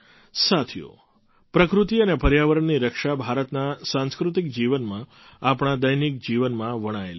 સાથીઓ પ્રકૃતિ અને પર્યાવરણની રક્ષા ભારતના સાંસ્કૃતિક જીવનમાં આપણા દૈનિક જીવનમાં વણાયેલી છે